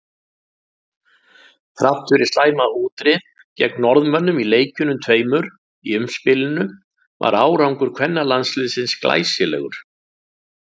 Þrátt fyrir slæma útreið gegn Norðmönnum í leikjunum tveimur í umspilinu var árangur kvennalandsliðsins glæsilegur.